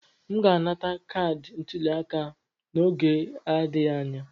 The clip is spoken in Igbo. M ga-anata kaadị ntuliaka m n'oge na-adịghị anya.